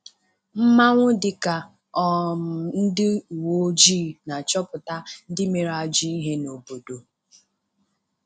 Mmanwụ dịka um ndị uweojii na-achọpụta ndị mere ajọ ihe n'obodo.